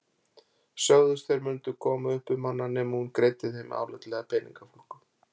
Sögðust þeir mundu koma upp um hana nema hún greiddi þeim álitlega peningafúlgu.